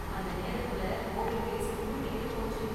அந்த நேரத்துல COVID case கூடிக்கிட்டே போச்சு.